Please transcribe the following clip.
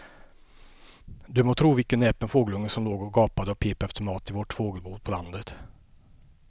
Du må tro vilken näpen fågelunge som låg och gapade och pep efter mat i vårt fågelbo på landet.